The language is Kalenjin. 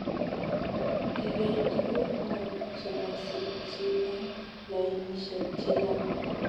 Kiger tuguk Mut chemasikchi eng lainishek chechang